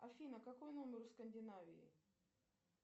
афина какой номер у скандинавии